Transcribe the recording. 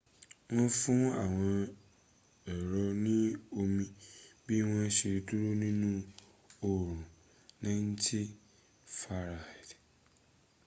wọ́n fún àwọn èrò ní omi bí wọ́n ṣe dúró nínu orun 90f